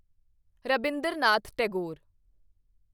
Rabindranath Tagore